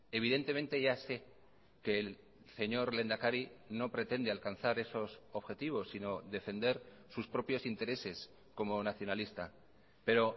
evidentemente ya sé que el señor lehendakari no pretende alcanzar esos objetivos sino defender sus propios intereses como nacionalista pero